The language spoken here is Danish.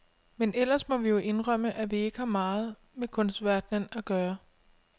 Men ellers må vi jo indrømme, at vi ikke har meget med kunstverdenen at gøre.